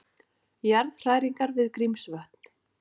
Jarðhræringar við Grímsvötn